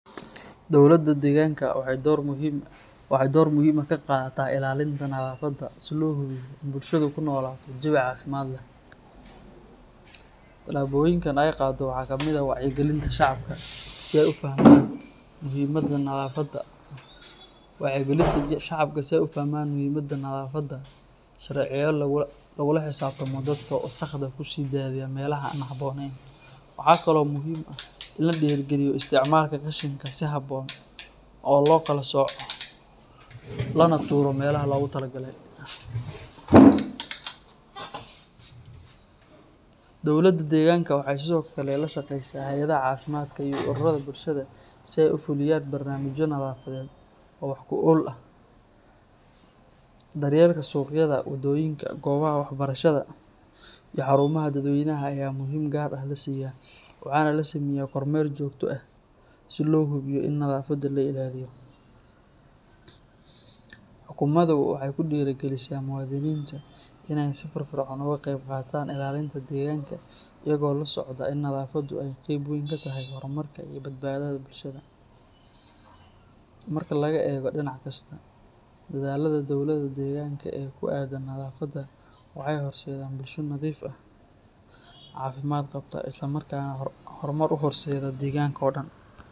Dowladda deegaanka waxay door muhiim ah ka qaadataa ilaalinta nadaafadda si loo hubiyo in bulshadu ku noolaato jawi caafimaad leh. Tallaabooyinka ay qaaddo waxaa ka mid ah wacyigelinta shacabka si ay u fahmaan muhiimadda nadaafadda, abaabulidda ololeyaal nadaafadeed oo joogto ah, iyo dejinta sharciyo lagula xisaabtamo dadka wasakhda ku sii daaya meelaha aan habboonayn. Waxaa kaloo muhiim ah in la dhiirrigeliyo isticmaalka qashinka si habboon loo kala sooco lana tuuro meelaha loogu talagalay. Dowladda deegaanka waxay sidoo kale la shaqaysaa hay’adaha caafimaadka iyo ururada bulshada si ay u fuliyaan barnaamijyo nadaafadeed oo wax ku ool ah. Daryeelka suuqyada, wadooyinka, goobaha waxbarashada iyo xarumaha dadweynaha ayaa muhiimad gaar ah la siiyaa, waxaana la sameeyaa kormeer joogto ah si loo hubiyo in nadaafaddu la ilaaliyo. Xukuumaddu waxay ku dhiirrigelisaa muwaadiniinta in ay si firfircoon uga qayb qaataan ilaalinta deegaanka iyaga oo la socda in nadaafaddu ay qeyb weyn ka tahay horumarka iyo badbaadada bulshada. Marka laga eego dhinac kasta, dadaallada dowladda deegaanka ee ku aaddan nadaafadda waxay horseedaan bulsho nadiif ah, caafimaad qabta, isla markaana horumar u horseedda deegaanka oo dhan.